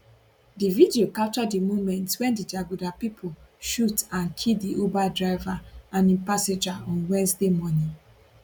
di video capture di moments wen di jaguda pipo shoot and kill di uber driver and im passenger on wednesday morning